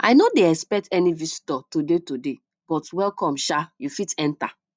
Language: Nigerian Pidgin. i no dey expect any visitor today today but welcome sha you fit enter